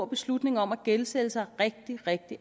beslutning om at gældsætte sig rigtig rigtig